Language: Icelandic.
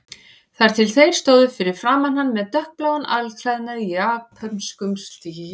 Þar til þeir stóðu fyrir framan hann með dökkbláan alklæðnað í japönskum stíl.